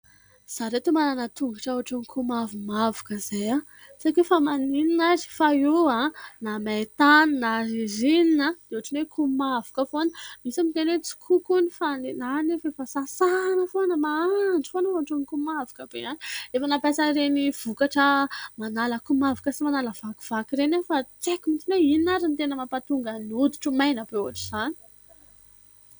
Izaho ry ireto manana tongotra komavomavoka izay ; tsy haiko hoe fa maninona ary fa io na maintany na ririnina io dia otrany komavoka foana, misy miteny hoe tsikoko hony fa ny ahy anefa efa sasana foana mandro foana fa ohatran'ny komavoka be ihany. Efa nampiasa an'ireny vokatra manala komavoka sy manala vakivaky ireny aho fa tsy haiko mihitsiny hoe inona ary ny tena mampahatongan'ny hoditra ho maina be ohatra izany.